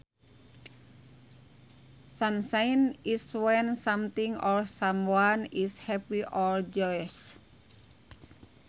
Sunshine is when something or someone is happy or joyous